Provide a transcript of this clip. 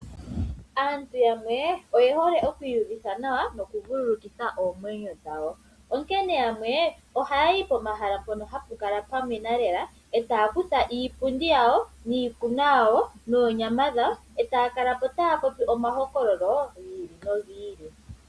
Aantu yamwe oyehole okwii uvitha nawa nokuvulukithwa oomwenyo dhawo, onkene yamwe ohayayi pomahala mpono hapu kala pwamwena lela, e taya kutha iipundi yawo, iikunwa yawo, noonyama dhawo, e taya kala taya popi omahokololo gi ili nogi ili.